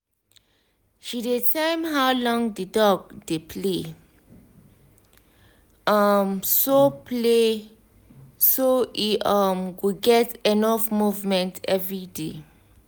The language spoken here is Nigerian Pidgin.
she dey time how long the dog dey play um so play um so e um go get enough movement every day